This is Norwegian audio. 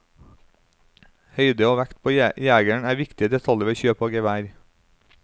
Høyde og vekt på jegeren er viktige detaljer ved kjøp av gevær.